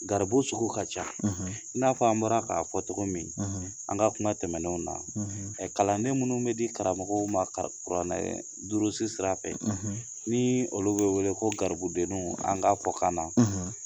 Garibu sugu ka ca i n'a fɔ an bɔra k'a fɔ cogo min an ka kuma tɛmɛnenw na kalanden minnu bɛ di karamɔgɔw ma kuranɛ durusi sira fɛ ni olu bɛ wele ko garibudenniw an ka fɔkan na